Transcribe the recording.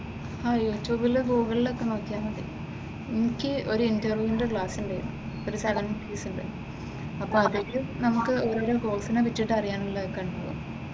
ആഹ് യൂട്യൂബില് ഗൂഗ്‌ളിലൊക്കെ നോക്കിയാ മതി. എനിക്ക് ഒരു ഇന്റർവ്യൂവിന്റെ ക്ലാസ് ഉണ്ടായിരുന്നു ഒരു സെവൻ ഡെയ്‌സിന്റെ അപ്പൊ അതില് നമുക്കു ഓരോ ഓരോ കോഴ്സിനെ പറ്റി അറിയാൻ കഴിഞ്ഞു.